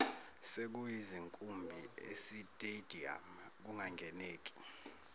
sekuyizinkumbi esitediyamu kungangeneki